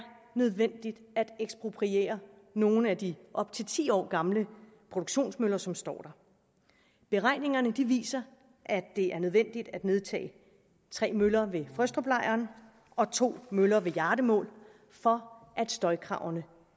nødvendigt at ekspropriere nogle af de op til ti år gamle produktionsmøller som står der beregningerne viser at det er nødvendigt at nedtage tre møller ved frøstruplejren og to møller ved hjardemål for at støjkravene